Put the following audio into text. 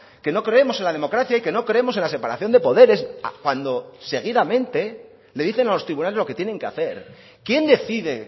que no creemos en la democracia y que no creemos en la separación de poderes cuando seguidamente le dicen a los tribunales lo que tienen que hacer quién decide